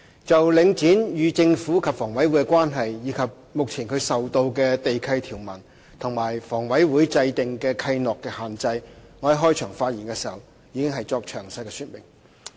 就領展與政府及香港房屋委員會的關係，以及目前它受到地契條文和與房委會制訂的契諾的限制，我在開場發言時已作詳細說明。